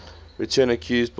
return accused boswell